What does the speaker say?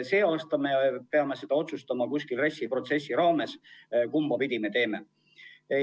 Sel aastal peame otsustama RES-i protsessi raames, kumbapidi me teeme.